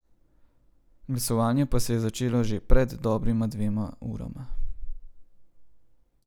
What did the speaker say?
Glasovanje pa se je začelo že pred dobrima dvema urama.